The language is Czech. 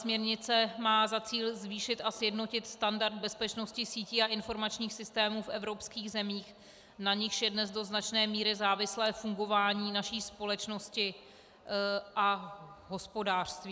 Směrnice má za cíl zvýšit a sjednotit standard bezpečnosti sítí a informačních systémů v evropských zemích, na nichž je dnes do značné míry závislé fungování naší společnosti a hospodářství.